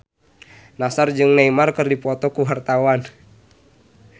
Nassar jeung Neymar keur dipoto ku wartawan